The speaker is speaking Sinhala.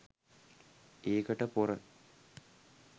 ඒකට පොර